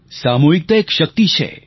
સામૂહિકતા એક શક્તિ છે